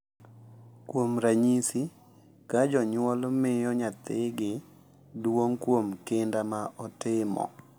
Kuom ranyisi, ka jonyuol miyo nyathigi duong’ kuom kinda ma otimo .